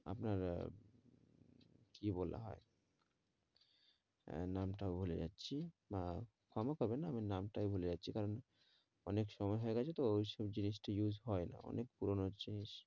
আপনারা কি বলা হয় আহ নামটা ও ভুলে যাচ্ছি আহ হবেন না আমি নামটাই ভুলে যাচ্ছি কারণ অনেক সময় হয়ে গেছে তো ওই সব জিনিস টি use হয়না অনেক পুরোনো জিনিস